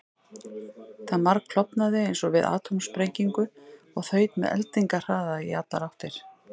Það margklofnaði eins og við atómsprengingu og þaut með eldingarhraða í allar áttir.